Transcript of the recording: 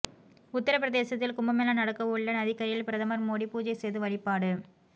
உத்தர பிரதேசத்தில் கும்பமேளா நடக்கவுள்ள நதிகரையில் பிரதமர் மோடி பூஜை செய்து வழிபாடு